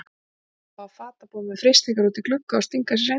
Ramba á fatabúð með freistingar úti í glugga og stinga sér inn.